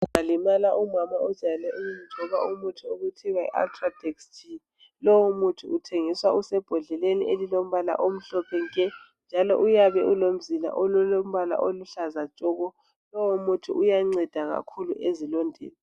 Umama ojayele ukuwugcoba umuthi okuthiwa Yi ultradex G lowu muthi uthengiswa usembondleleni elilombala omhlophe nke njalo uyabe kulomzila olombala oluhlaza tshoko. Lowo muthi uyanceda kakhulu ezilondeni.